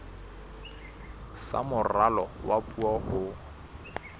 sa moralo wa puo ho